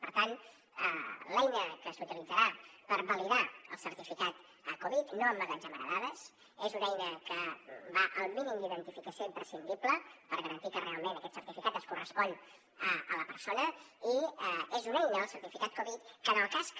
per tant l’eina que s’utilitzarà per validar el certificat covid no emmagatzemarà dades és una eina que va al mínim d’identificació imprescindible per garantir que realment aquest certificat es correspon a la persona i és una eina el certificat covid que en el cas que